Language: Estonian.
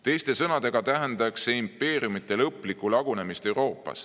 Teiste sõnadega tähendaks see impeeriumite lõplikku lagunemist Euroopas.